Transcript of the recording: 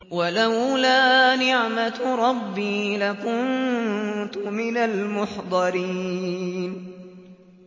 وَلَوْلَا نِعْمَةُ رَبِّي لَكُنتُ مِنَ الْمُحْضَرِينَ